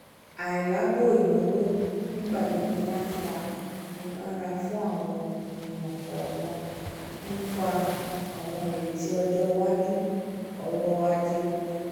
ailabo ìnáwó n'igbagbogbo má n fà ìgbónarà fún àwọn ènìyàn kọọkan nípa àwọn ireti ọjọ iwájú ọrọ-ajé wọn